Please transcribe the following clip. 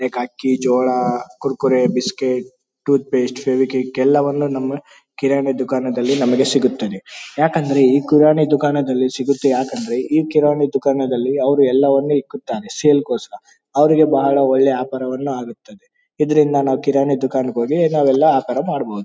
Like ಅಕ್ಕಿ ಜೋಳ Kurkure biscuit toothpaste Fevikwik ಎಲ್ಲಾ ವನ್ನು ನಮ್ಮ ಕಿರಾಣಿ ದುಕಾನದಲ್ಲಿ ದಲ್ಲಿ ನಮಗೆ ಸಿಗುತ್ತದೆ. ಯಾಕಂದ್ರೆ ಈ ಕಿರಾಣಿ ದುಕಾನದಲ್ಲಿ ಸಿಗುತ್ತೆ ಯಾಕಂದ್ರೆ ಕಿರಾಣಿ ದುಕಾನದಲ್ಲಿ ಅವರು ಎಲ್ಲಾ ವನ್ನು ಇಕ್ಕುತ್ತಾರೆ ಸೇಲ್ ಗೋಸ್ಕರ ಅವರಿಗೆ ಬಹಳ ಒಳ್ಳೇ ವ್ಯಾಪಾರ ವನ್ನ ಆಗುತ್ತದೆ. ಇದರಿಂದ ನಾವು ಕಿರಾಣಿ ದುಕಾನದಲ್ಲಿ ನಾವು ಒಳ್ಳೆ ವ್ಯಾಪಾರವನ್ನು ಮಾಡಬಹುದು.